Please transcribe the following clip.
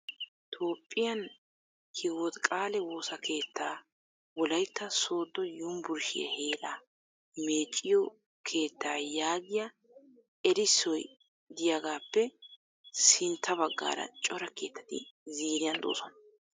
Toophiyaan hiwot qaale woosa keettaa wolayitta sooddo yumburshiya heeraa meecciyo keettaa yaagiyaa erissoy diyagaappe sintta baggaara cora keettati ziiriyan de'oosona.